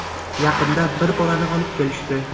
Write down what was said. Yaqinda bir bolani olib kelishdi.